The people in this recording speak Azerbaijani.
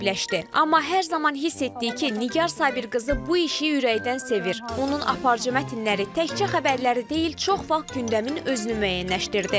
Amma hər zaman hiss etdik ki, Nigar Sabit qızı bu işi ürəkdən sevir, onun aparıcı mətnləri təkcə xəbərləri deyil, çox vaxt gündəmin özünü müəyyənləşdirdi.